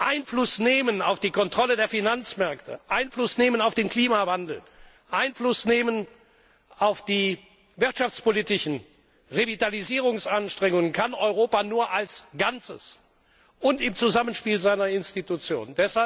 Einfluss nehmen auf die Kontrolle der Finanzmärkte, Einfluss nehmen auf den Klimawandel, Einfluss nehmen auf die wirtschaftspolitischen Revitalisierungsanstrengungen das kann Europa nur als Ganzes und im Zusammenspiel seiner Institutionen.